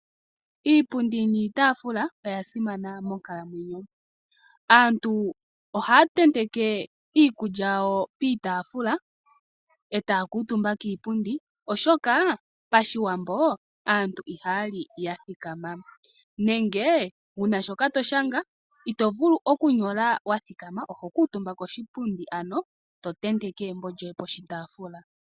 Iipundi niitaafula oya simana monkalamwenyo. Aantu ohaya tenteke iikulya yawo piitaafula, e taya kuutumba kiipundi, oshoka pashiwambo aantu ihaya li ya thikama nenge wu na shoka to shanga ito vulu okunyola wa thikama, oho kuutumba koshipundi ano to tenteke embo lyoye koshitaafula.